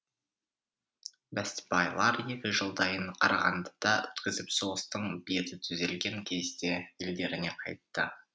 бестібайлар екі жылдайын қарағандыда өткізіп соғыстың беті түзелген кезде елдеріне қайтты